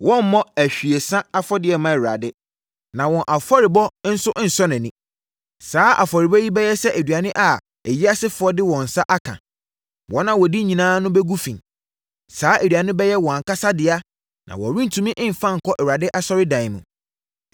Wɔremmɔ ahwiesa afɔdeɛ mma Awurade, na wɔn afɔrebɔ nso nsɔ nʼani. Saa afɔrebɔ yi bɛyɛ sɛ aduane a ayiasefoɔ de wɔn nsa aka; wɔn a wɔdi nyinaa ho bɛgu fi. Saa aduane no bɛyɛ wɔn ankasa dea na wɔrentumi mmfa nkɔ Awurade asɔredan mu.